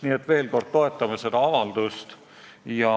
Nii et veel kord: me toetame seda avaldust.